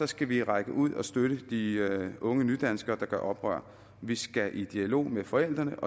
skal vi række ud og støtte de unge nydanskere der gør oprør vi skal i dialog med forældrene